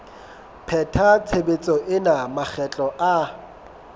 pheta tshebetso ena makgetlo a